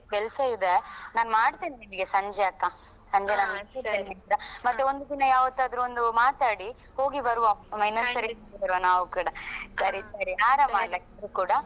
ಕೆಲ್ಸ ಇದೆ ನಾನ್ ಮಾಡ್ತೇನೆ ನಿಮ್ಗೆ ಸಂಜೆ ಅಕ್ಕ ಸಂಜೆ ನಾನ್ free ಆದ ನಂತ್ರ ಮತ್ತೆ ಒಂದು ದಿನ ಯಾವತ್ತಾದ್ರು ಒಂದು ಮಾತನಾಡಿ ಹೋಗಿ ಬರುವ ಇನ್ನೊಂದ್ ಸರಿ ನೋಡ್ಕೊಂಡು ಬರ್ವ ನಾವ್ ಕೂಡ ಸರಿ ಸರಿ ಆರಾಮ್ ಅಲ ನೀವ್ ಕೂಡ?